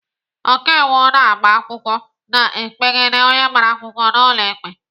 Ọkaiwu na-agba akwụkwọ na-ekpegide onye agbara akwụkwọ n'ụlọ ikpe.